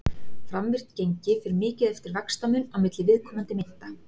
framvirkt gengi fer mikið eftir vaxtamun á milli viðkomandi mynta